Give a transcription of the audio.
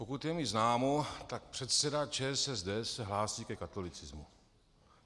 Pokud je mi známo, tak předseda ČSSD se hlásí ke katolicismu.